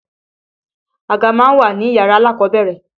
Àga má ń wà níyàrá alákọ̀ọ́bẹ̀rẹ̀.